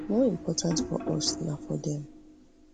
more important for us na for dem